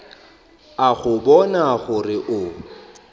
a go bona gore o